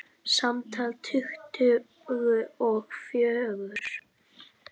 Samtals tuttugu og fjögur.